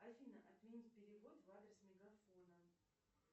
афина отменить перевод в адрес мегафона